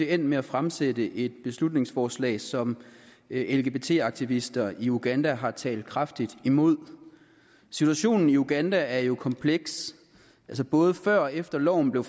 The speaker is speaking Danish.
endt med at fremsætte et beslutningsforslag som lgbt aktivister i uganda har talt kraftigt imod situationen i uganda er jo kompleks altså både før og efter loven blev